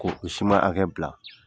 K'o o hakɛ bila